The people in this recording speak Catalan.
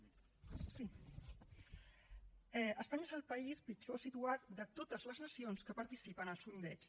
sí espanya és el país pitjor situat de totes les nacions que participen al sondeig